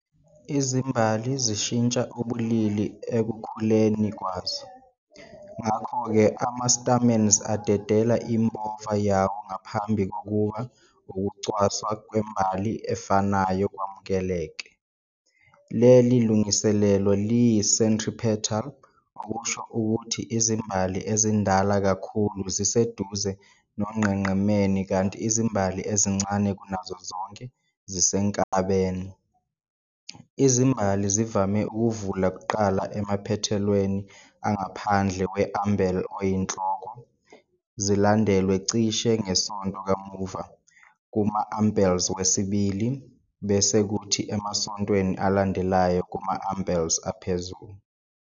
Izimbali zishintsha ubulili ekukhuleni kwazo, ngakho-ke ama-stamens adedela impova yawo ngaphambi kokuba ukucwaswa kwembali efanayo kwamukeleke. Leli lungiselelo liyi-centripetal, okusho ukuthi izimbali ezindala kakhulu ziseduze nonqenqemeni kanti izimbali ezincane kunazo zonke zisenkabeni. Izimbali zivame ukuvula kuqala emaphethelweni angaphandle we-umbel oyinhloko, zilandelwe cishe ngesonto kamuva kuma-umbels wesibili, bese kuthi emasontweni alandelayo kuma-umbels aphezulu.